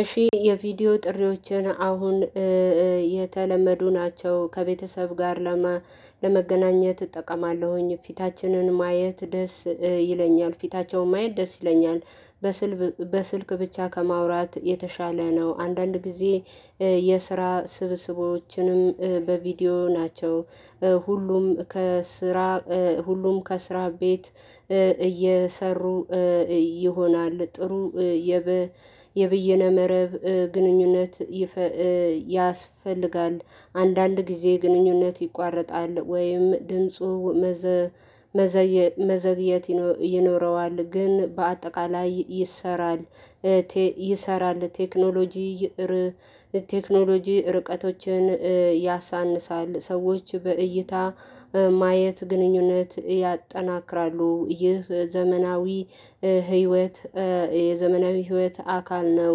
እሺ የቪዲዮ ጥሪዎችን አሁን የተለመዱ ናቸው ከቤተሰብ ጋር ለመገናኘት እጠቀማለሁኝ ፊታችንን ማየት ደስ ይለኛል ፊታቸውን ማየት ደስ ይለኛል። በስልክ ብቻ ከማውራት የተሻለ ነው። አንዳንድ ጊዜ የስራ ስብስቦችንም በቪዲዮ ናቸው። ሁሉም ከስራ ሁሉም ከስራ ቤት እየሰሩ ይሆናል ጥሩ የበ የብይነ መረብ ግንኙነት። ያስፈልጋል አንዳንድ ጊዜ ግንኙነት ይቋረጣል ወይም ድምፁ መዘግየት ይኖረዋል ግን በአጠቃላይ ይሰራል። ይሰራል ቴክኖሎጂ ቴክኖሎጂ ርቀቶችን ያሳንሳል። ሰዎች በእይታ ማየት ግንኙነት ያጠናክራሉ። ይህ ዘመናዊ ህይወት የዘመናዊ ህይወት አካል ነው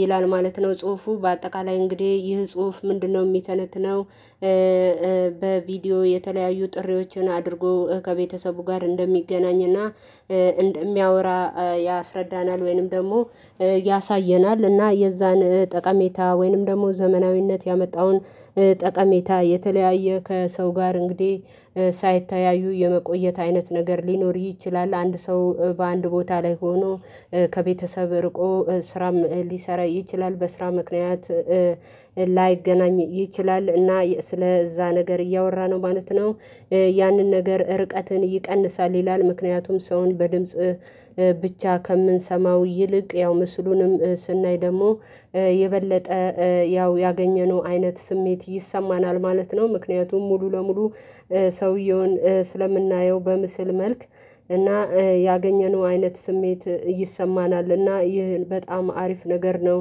ይላል ማለት ነው። ጽሁፉ በአጠቃላይ እንግዲህ ይህ ጽሁፍ ምንድነው የሚተነትነው? በቪዲዮ የተለያዩ ጥሪዎችን አድርጎ ከቤተሰቡ ጋር እንደሚገናኝ እና እንደሚያወራ ያስረዳናል። ወይንም ደግሞ ያሳየናል። እና የዛን ጠቃሜታ ወይንም ደግሞ ዘመናዊነት ያመጣውን ጠቀሜታ የተለያየ ከሰው ጋር እንግዲህ ሳይታያዩ የመቆየት አይነት ነገር ሊኖር ይችላል። አንድ ሰው በአንድ ቦታ ላይ ሆኖ ከቤተሰብ ርቆ ስራም ሊሰራ ይችላል። በስራ ምክንያት ላይገናኝ ይችላል እና ስለዛ ነገር እያወራ ነው ማለት ነው። ያንን ነገር ርቀትን ይቀንሳል ይላል። ምክንያቱም ሰውን በድምጽ ብቻ ከምንሰማው ይልቅ ያው ምስሉንም ስናይ ደግሞ የበለጠ ያው ያገኘነው አይነት ስሜት ይሰማናል ማለት ነው። ምክንያቱም ሙሉ ለሙሉ ሰውየውን ስለምናየው በምስል መልክ እና ያገኘነው አይነት ስሜት ይሰማናል እና ይህን በጣም አሪፍ ነገር ነው።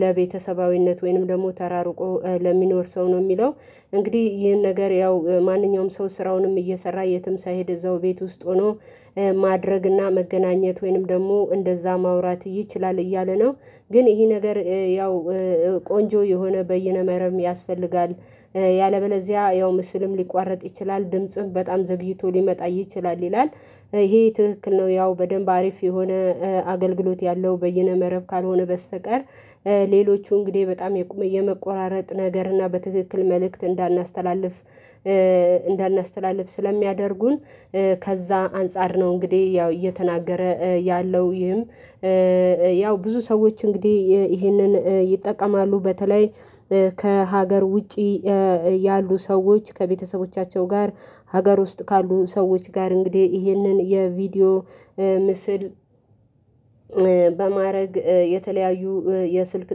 ለቤተሰባዊነት ወይንም ደግሞ ተራርቆ ለሚኖር ሰው ነው የሚለው። እንግዲህ ይሄን ነገር ያው ማንኛውም ሰው ስራውንም እየሰራ የትም ሳይሄድ እዛው ቤት ውስጥ ሆኖ ማድረግ እና መገናኘት ወይንም ደግሞ እንደዛ ማውራት ይችላል እያለ ነው። ግን ይሄ ነገር ያው ቆንጆ የሆነ በየነ መረብም ያስፈልጋል። ያለበለዚያ ያው ምስልም ሊቋረጥ ይችላል ድምጽም በጣም ዘግይቶ ሊመጣ ይችላል ይላል። ይሄ ትክክል ነው ያው በደንብ አሪፍ የሆነ አገልግሎት ያለው በየነ መረብ ካልሆነ በስተቀር ሌሎቹ እንግዲህ በጣም የመቆራረጥ ነገር እና በትክክል መልእክት እንዳናስተላልፍ ስለሚያደርጉን ከዛ አንፃር ነው። እንግዲህ ያው እየተናገረ ያለው ይህም ያው ብዙ ሰዎች እንግዲህ ይህንን ይጠቀማሉ። በተለይ ከሀገር ውጪ ያሉ ሰዎች ከቤተሰቦቻቸው ጋር ሀገር ውስጥ ካሉ ሰዎች ጋር እንግዲህ ይህንን የቪዲዮ ምስል በማድረግ የተለያዩ የስልክ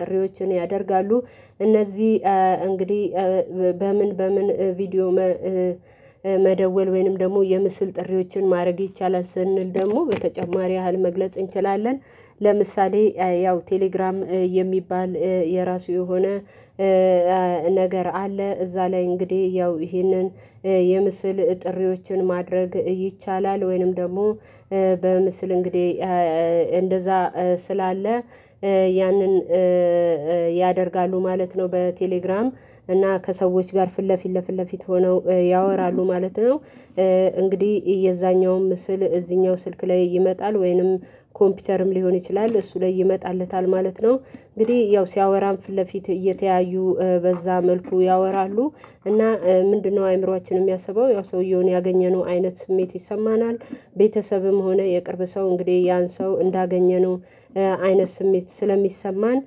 ጥሪዎችን ያደርጋሉ። እነዚህ እንግዲህ በምን በምን ቪዲዮ መደወል ወይንም ደግሞ የምስል ጥሪዎችን ማድረግ ይቻላል ስንል ደግሞ በተጨማሪ ያህል መግለጽ እንችላለን። ለምሳሌ ያው ቴሌግራም የሚባል የራሱ የሆነ ነገር አለ። እዛ ላይ እንግዲህ ያው ይህንን የምስል ጥሪዎችን ማድረግ ይቻላል ወይንም ደግሞ በምስል እንግዲህ እንደዛ ስላለ ያንን ያደርጋሉ ማለት ነው። በቴሌግራም እና ከሰዎች ጋር ፊት ለፊት ለፊት ለፊት ሆነው ያወራሉ ማለት ነው። እንግዲህ የዛኛውም ምስል እዚህኛው ስልክ ላይ ይመጣል ወይንም ኮምፒውተርም ሊሆን ይችላል እሱ ላይ ይመጣለታል ማለት ነው። እንግዲህ ያው ሲያወራም ፊት ለፊት እየተያዩ በዛ መልኩ ያወራሉ እና ምንድነው አእምሮአችን የሚያስበው ያው ሰውየውን ያገኘነው አይነት ስሜት ይሰማናል። ቤተሰብም ሆነ የቅርብ ሰው እንግዲህ ያን ሰው እንዳገኘነው አይነት ስሜት ስለሚሰማን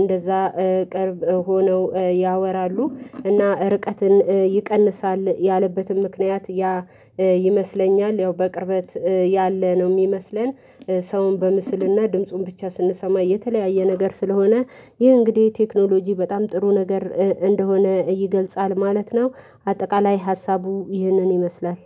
እንደዛ ቅርብ ሆነው ያወራሉ እና ርቀትን ይቀንሳል። ያለበትም ምክንያት ያ ይመስለኛል ያው በቅርበት ያለ ነው የሚመስለን። ሰውን በምስል እና ድምፁን ብቻ ስንሰማ የተለያየ ነገር ስለሆነ ይህ እንግዲህ ቴክኖሎጂ በጣም ጥሩ ነገር እንደሆነ ይገልጻል ማለት ነው። አጠቃላይ ሀሳቡ ይህንን ይመስላል።